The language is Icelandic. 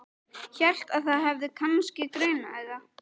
Hélt að þig hefði kannski grunað þetta.